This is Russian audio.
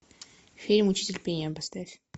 фильм учитель пения поставь